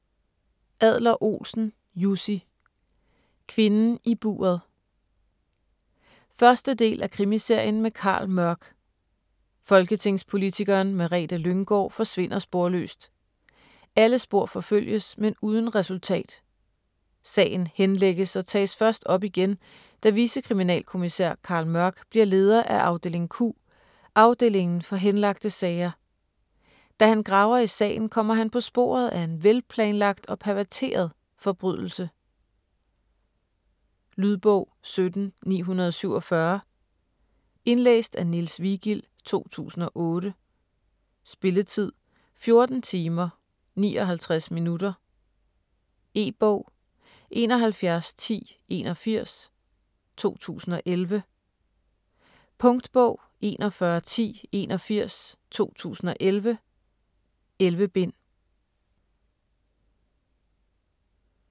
Adler-Olsen, Jussi: Kvinden i buret 1. del af Krimiserien med Carl Mørck. Folketingspolitikeren Merete Lynggaard forsvinder sporløst. Alle spor forfølges, men uden resultat. Sagen henlægges og tages først op igen, da vicekriminalkommisær Carl Mørck bliver leder af afdeling Q, afdelingen for henlagte sager. Da han graver i sagen, kommer han på sporet af en velplanlagt og perverteret forbrydelse. Lydbog 17947 Indlæst af Niels Vigild, 2008. Spilletid: 14 timer, 59 minutter. E-bog 711081 2011. Punktbog 411081 2011. 11 bind.